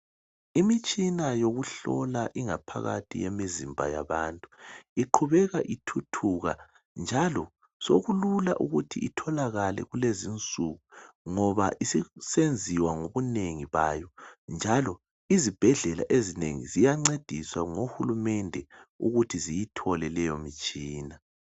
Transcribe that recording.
imitshina yokuhlola ingaphakathi yemizimba yabantuiqhubeka ithuthuka njalo sokulula ukuthi itholakale kulezi insuku ngoba isissenziwa ngobunengikwayo izibhedlela ezinengi ziyancediswa ngo hulumende ukuthi ziyithole imithitshina